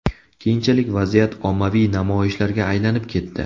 Keyinchalik vaziyat ommaviy namoyishlarga aylanib ketdi.